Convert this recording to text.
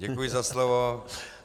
Děkuji za slovo.